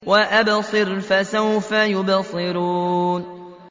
وَأَبْصِرْ فَسَوْفَ يُبْصِرُونَ